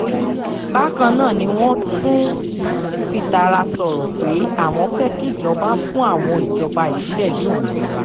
bákan náà ni wọ́n tún fìtara sọ̀rọ̀ pé àwọn fẹ́ kíjọba fún àwọn ìjọba ìbílẹ̀ ní òmìnira